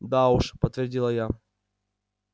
да уж подтвердила я